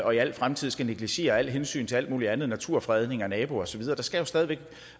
og i al fremtid skal negligere alle hensyn til alt muligt andet som naturfredning naboer og så videre der skal stadig væk